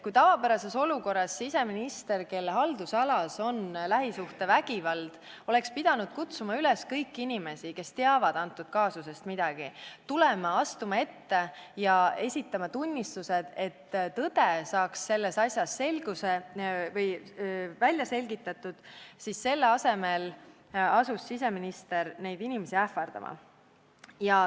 Kui tavapärases olukorras siseminister, kelle haldusalas lähisuhtevägivald on, oleks pidanud kutsuma üles kõiki inimesi, kes antud kaasusest midagi teavad, ette astuma ja esitama tunnistusi, et tõde saaks selles asjas välja selgitatud, siis selle asemel asus siseminister neid inimesi ähvardama.